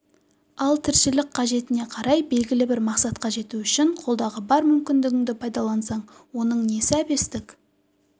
ал тіршілік қажетіне қарай белгілі бір мақсатқа жету үшін қолдағы бар мүмкіндігіңді пайдалансаң оның несі әбестік